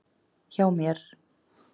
Hjá mér.